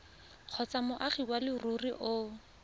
kgotsa moagi wa leruri o